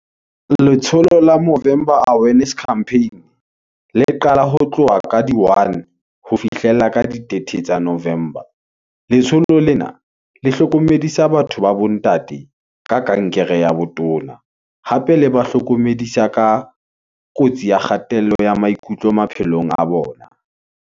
Letsholo la november awareness campaign, le qala ho tloha ka di 01, ho fihlella ka di 30 tsa November. Letsholo lena, le ho hlokomedisa batho ba bo ntate, ka kankere ya botona, hape le ba hlokomedisa ka kotsi ya kgatello ya maikutlo maphelong a bona.